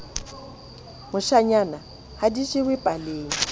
moshanyana ha di jewe paleng